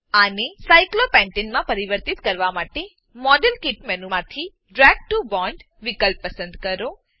આને સાયક્લોપેન્ટને સાયક્લોપેન્ટેન માં પરિવર્તિત કરવા માટે મોડેલકીટ મેનુમાંથી ડ્રેગ ટીઓ બોન્ડ વિકલ્પ પસંદ કરો